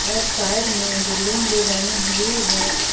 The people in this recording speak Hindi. और साइड में बिल्डिंग भी बनी हुई है।